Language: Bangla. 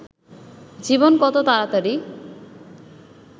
জীবন কত তাড়াতাড়ি